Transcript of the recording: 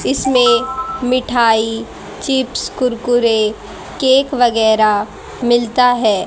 इसमें मिठाई chips Kurkure cake वगैरा मिलता है।